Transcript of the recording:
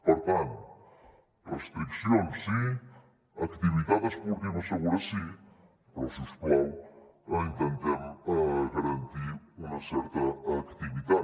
per tant restriccions sí activitat esportiva segura sí però si us plau intentem garantir una certa activitat